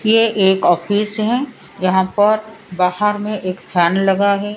ये एक ऑफिस है यहां पर बाहर में एक फैन लगा है।